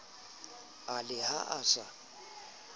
e le ha a sa